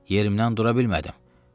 Yerimdən dura bilmədim.